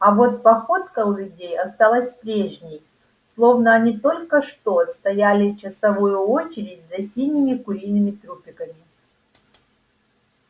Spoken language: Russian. а вот походка у людей осталась прежней словно они только что отстояли часовую очередь за синими куриными трупиками